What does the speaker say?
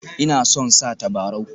Ina son sa tabarau